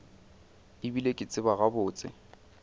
e bile ke tseba gabotse